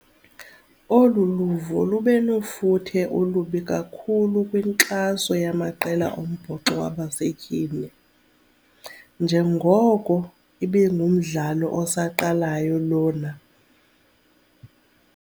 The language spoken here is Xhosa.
Olu luvo lube nofuthe olubi kakhulu kwinkxaso yamaqela ombhoxo yabasetyhini njengoko ibingumdlalo osaqalayo lona.